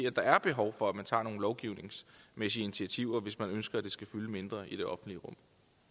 at der er behov for at tage nogle lovgivningsmæssige initiativer hvis man ønsker at det skal fylde mindre i det offentlige rum